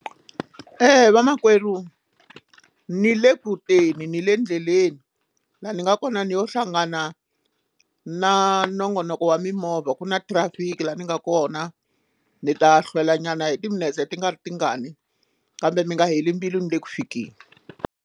vamakwerhu ni le kuteni ni le endleleni laha ni nga kona ni yo hlangana na nongonoko wa mimovha ku na traffic laha ni nga kona ni ta hlwela nyana hi timinetse ti nga ri tingani kambe mi nga heli mbilu ni le ku fikeleni.